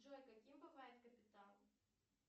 джой каким бывает капитал